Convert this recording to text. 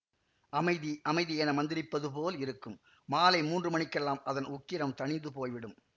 அமைதி அமைதி என மந்திரிப்பது போலிருக்கும் மாலை மூன்று மணிக்கெல்லாம் அதன் உக்கிரம் தணிந்து போய்விடும்